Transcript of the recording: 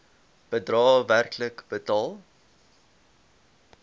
bedrae werklik betaal